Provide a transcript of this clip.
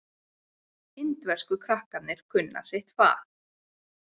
Indversku krakkarnir kunna sitt fag.